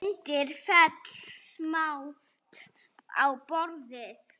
Myndin féll samt á borðið.